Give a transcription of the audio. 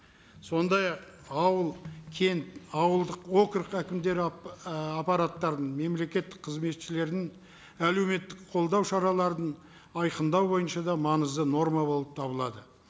сондай ақ ауыл кент ауылдық округ әкімдері ііі аппараттарының мемлекеттік қызметшілерін әлеуметтік қолдау шараларын айқындау бойынша да маңызды норма болып табылады